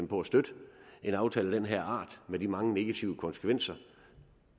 på at støtte en aftale af den her art med de mange negative konsekvenser